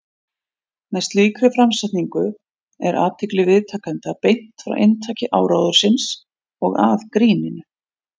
Með slíkri framsetningu er athygli viðtakenda beint frá inntaki áróðursins og að gríninu.